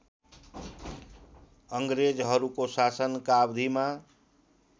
अङ्ग्रेजहरूको शासनका अवधिमा